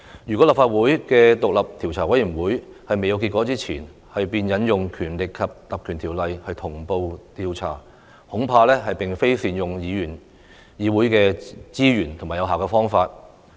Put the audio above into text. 如果獨立調查委員會還未得出結果，立法會便引用《條例》同步調查，恐怕並非善用議會資源的有效方法。